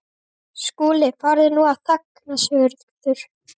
SKÚLI: Farðu nú að þagna, Sigurður.